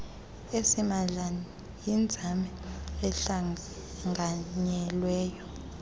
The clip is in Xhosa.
asimahla yinzame ehlanganyelweyo